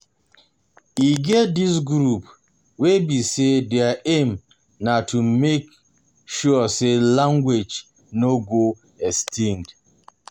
E get di groups wey be say their aim um na to make um sure sey language um no go extinct